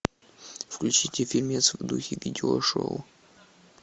включите фильмец в духе видео шоу